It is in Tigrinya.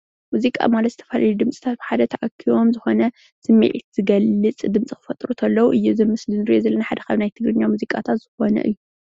ሙዚቃ ማለት ዝተፈላለዩ ድምፅታት ብሓደ ተኣኪቦም ዝኾነ ስምዒት ዝገልፅ ድምፂ ክፈጥሩ እንተለው እዪ እቲ ምስሊ እዙይ ንሪኦ ዘለና ድማ ካብ ናይ ክልልና ሙዚቃታት ዝኾነ እዩ ።